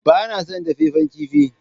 Ba na son dafaffen kifi